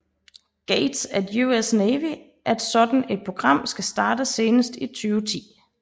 Gates at US Navy at sådan et program skal startes senest i 2010